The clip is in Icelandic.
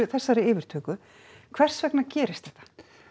þessari yfirtöku hvers vegna gerist þetta